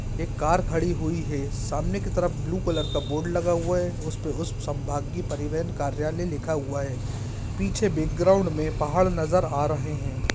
एक कार खड़ी हुई है सामने की तरफ ब्लू कलर का बोर्ड लगा हुआ है उस पे उस संभागीय परिवहन कार्यलय लिखा हुआ है पीछे बैकग्राउंड में पहाड़ नजर आ रहे हैं।